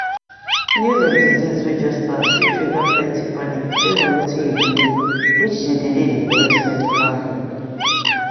news of disease way just start fit trigger plenty panic depend on wetin you believe which dey delay the correct medical help